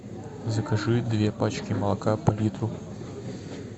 закажи две пачки молока по литру